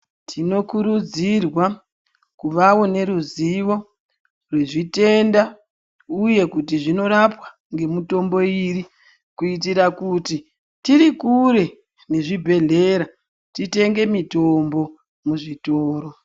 Tinokurudzirwa kuvawo neruzivo rwezitenda, uye kuti zvinorapwa ngemutombo yiri kuitira kuti tirikure nezvibhrdhlera titenge mitombo muzvitoro.